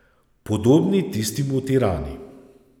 Podobni tistim v Tirani.